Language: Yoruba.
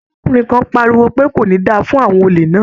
Arákùnrin kan pariwo pé "kò ní da fún àwọn olè náà".